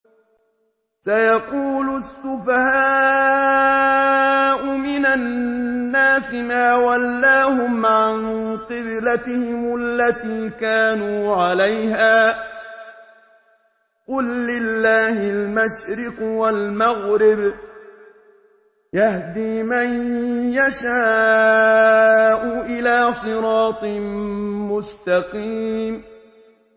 ۞ سَيَقُولُ السُّفَهَاءُ مِنَ النَّاسِ مَا وَلَّاهُمْ عَن قِبْلَتِهِمُ الَّتِي كَانُوا عَلَيْهَا ۚ قُل لِّلَّهِ الْمَشْرِقُ وَالْمَغْرِبُ ۚ يَهْدِي مَن يَشَاءُ إِلَىٰ صِرَاطٍ مُّسْتَقِيمٍ